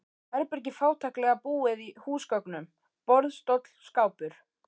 Herbergi fátæklega búið húsgögnum: borð, stóll, skápur.